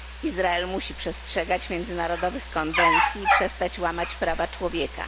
Izrael musi przestrzegać międzynarodowych konwencji i przestać łamać prawa człowieka.